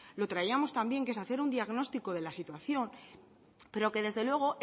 lo traíamos también que es hacer un diagnóstico de la situación pero que desde luego